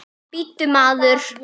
Bíddu, maður!